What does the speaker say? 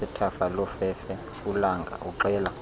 sasethafalofefe ulanga uxela